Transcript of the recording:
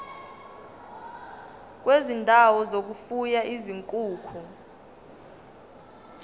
kwezindawo zokufuya izinkukhu